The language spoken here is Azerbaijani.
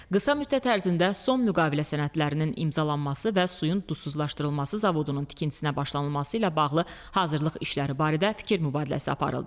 Qısa müddət ərzində son müqavilə sənədlərinin imzalanması və suyun duzsuzlaşdırılması zavodunun tikintisinə başlanılması ilə bağlı hazırlıq işləri barədə fikir mübadiləsi aparıldı.